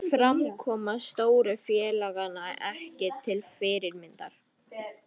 Framkoma stóru félaganna ekki til fyrirmyndar